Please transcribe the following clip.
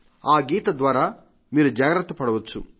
ఆ గీత ద్వారా మీరు జాగ్రత్త పడవచ్చు